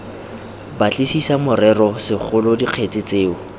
batlisisa morero segolo dikgetse tseo